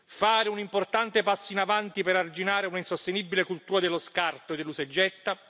fare un importante passo in avanti per arginare un'insostenibile cultura dello scarto e dell'usa e getta